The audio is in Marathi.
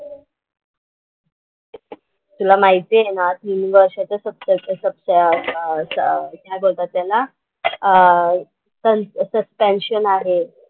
तुला माहिती आहे ना तीन वर्ष ते सत्तर सत्त ह्याला काय बोलतात त्याला? अह सं सस्पेन्शन आहे.